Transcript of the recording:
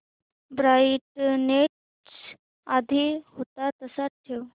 brightness आधी होता तसाच ठेव